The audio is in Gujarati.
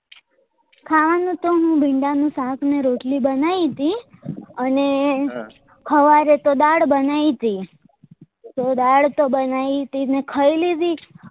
ખાવા નું તો મેં ભીંડા નું શક ને રોટલી બનાયી હતી અને હવારે તો દાળ બનાયી ટી તો દાળ તો બનાયી ટી મેં ખાઈ લીધી